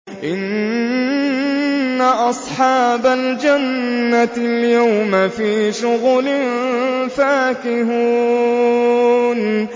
إِنَّ أَصْحَابَ الْجَنَّةِ الْيَوْمَ فِي شُغُلٍ فَاكِهُونَ